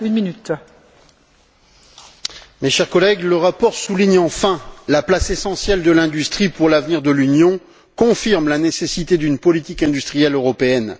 Madame la Présidente, mes chers collègues, le rapport souligne enfin la place essentielle de l'industrie pour l'avenir de l'Union et confirme la nécessité d'une politique industrielle européenne.